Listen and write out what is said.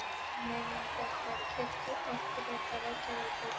Um miðjan febrúar keypti Orkuveita Reykjavíkur